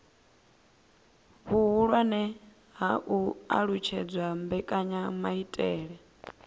vhuhulwane ha u alutshedza mbekanyamaitele